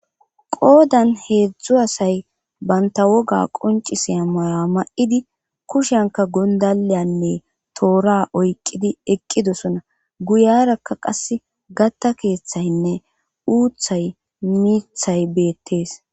qoodan heedzdzu asay banta woga qonciseya maya ma7idi kushanka gondaleyanne toora oyqqidi eqqidosona guyarakka qas gatta keeththaynne uuthay miithay beettees